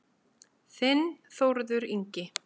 Þinn Þórður Ingi.